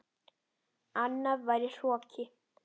Annað væri hroki.